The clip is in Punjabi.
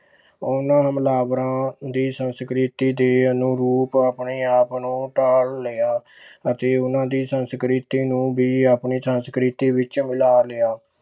ਉਹਨਾਂ ਹਮਲਾਵਰਾਂ ਦੀ ਸੰਸਕ੍ਰਿਤੀ ਦੇ ਅਨੁਰੂਪ ਆਪਣੇ ਆਪ ਨੂੰ ਢਾਲ ਲਿਆ ਅਤੇ ਉਹਨਾਂ ਦੀ ਸੰਸਕ੍ਰਿਤੀ ਨੂੰ ਵੀ ਆਪਣੀ ਸੰਸਕ੍ਰਿਤੀ ਵਿੱਚ ਮਿਲਾ ਲਿਆ।